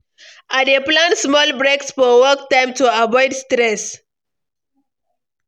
I dey plan small breaks for work time to avoid stress.